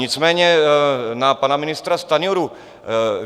Nicméně na pana ministra Stanjuru.